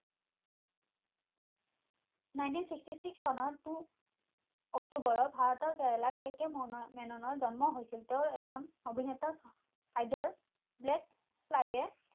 nineteen sixty six চনৰ Two অক্টোবৰত ভাৰতৰ কেৰেলাৰ কে কে মেননৰ জন্ম হৈছিল তেও এজন অভিনেতা সাধ্যৰ black friday